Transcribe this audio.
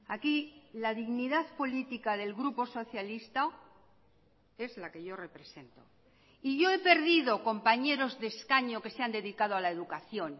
aquí la dignidad política del grupo socialista es la que yo represento y yo he perdido compañeros de escaño que se han dedicado a la educación